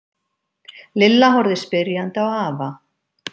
Lilla horfði spyrjandi á afa.